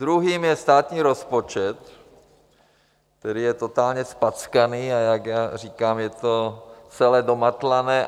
Druhým je státní rozpočet, který je totálně zpackaný, a jak já říkám, je to celé domatlané.